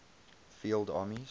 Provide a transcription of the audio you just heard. field armies